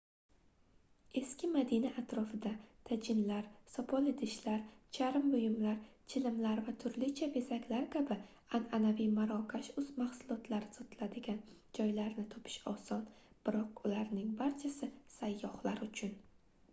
eski madina atrofida tajinlar sopol idishlar charm buyumlar chilimlar va turlicha bezaklar kabi anʼanaviy marokash mahsulotlari sotiladigan joylarni topish oson biroq ularning barchasi sayyohlar uchun